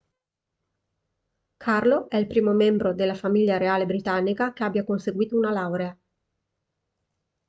carlo è il primo membro della famiglia reale britannica che abbia conseguito una laurea